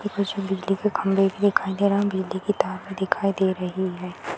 ऊपर से बिजली के खंभे भी दिखाई दे रहा बिजली के तार भी दिखाई दे रही है।